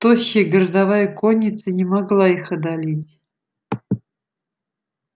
тощая городовая конница не могла их одолеть